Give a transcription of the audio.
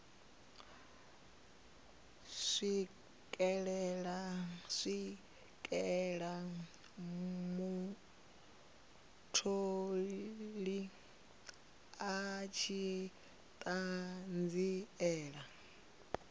swikela mutholi a tshi ṱanziela